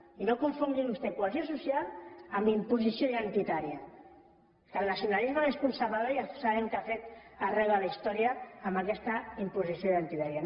i no confongui vostè cohesió social amb imposició identitària que el nacionalisme més conservador ja sabem què ha fet arreu de la història amb aquesta imposició identitària